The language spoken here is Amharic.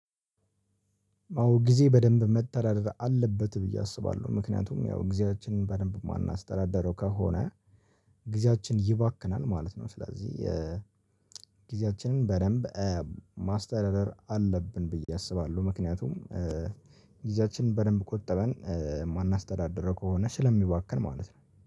አዎ ጊዜ በደንብ መተዳደር አለበት ብዬ አስባለሁ ምክንያቱም ያው ጊዜያችንን በደንብ እማናስተዳደረው ከሆነ ጊዜያችን ይባክናል ማለት ነው። ስለዚህ ኧ ጊዜያችንን በደንብ ኧ ማስተዳደር አለብን ብዬ አስባለሁ። ምክንያቱም ኧ ጊዜያችንን በደንብ ቆጠበን ኧ እማናስተዳድረው ከሆነ ስለሚባክን ማለት ነው